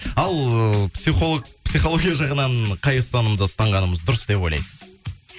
ал ыыы психология жағынан қай ұстанымды ұстанғанымыз дұрыс деп ойлайсыз